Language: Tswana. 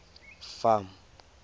farm